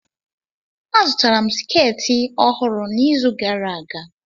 Azụtara m sketị ọhụrụ n'izu gara aga.